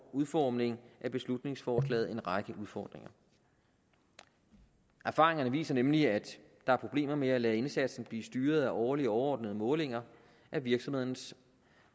udformning af beslutningsforslaget en række udfordringer erfaringerne viser nemlig at der er problemer med at lade indsatsen blive styret af årlige overordnede målinger af virksomhedernes